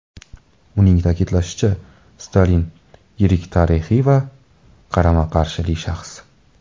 Uning ta’kidlashicha, Stalin yirik tarixiy va... qarama-qarshili shaxs.